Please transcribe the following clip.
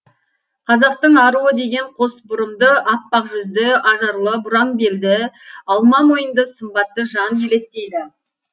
қазақтың аруы деген қос бұрымды аппақ жүзді ажарлы бұраң белді алма мойынды сымбатты жан елестейді